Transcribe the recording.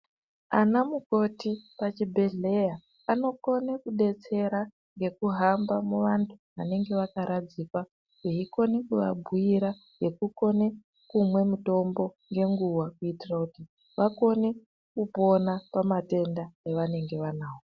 Ana mukoti pachibhedhleya anokone kudetsera ngekuhamba muvantu vanenge vakaradzikwa veikone kuvabhuira ngekukone kumwe mitombo ngenguwa kuitira kuti vakone kupona pamatenda evanenge vanawo.